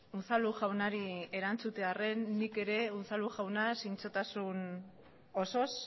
unzalu jaunari erantzutearren nik ere unzalu jauna zintzotasun osoz